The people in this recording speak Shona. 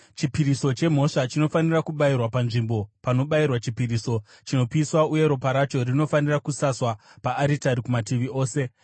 Chipiriso chemhosva chinofanira kubayirwa panzvimbo panobayirwa chipiriso chinopiswa uye ropa racho rinofanira kusaswa paaritari kumativi ose.